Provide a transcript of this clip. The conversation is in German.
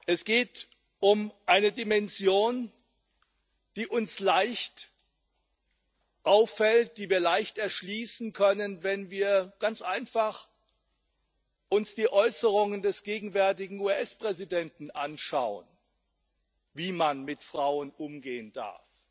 Es geht um eine Dimension, die uns leicht auffällt, die wir leicht erschließen können, wenn wir ganz einfach uns die Äußerungen des gegenwärtigen US Präsidenten anschauen, wie man mit Frauen umgehen darf.